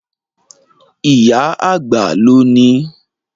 Ìyá àgbà ló nií.